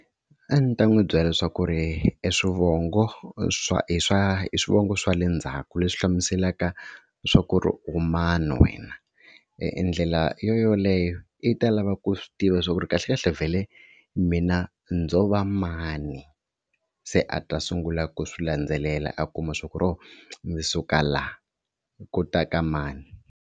A ndzi ta n'wi byela leswaku eswivongo swa i swa i swivongo swa le ndzhaku leswi hlamuselaka swaku u mani wena. Ndlela yoyoleyo yi ta lava ku u swi tiva swa ku ri kahlekahle vhele mina ndzo va mani. Se a ta sungula ku swi landzelela a kuma swaku ho ndzi suka laha ku ta ka mani.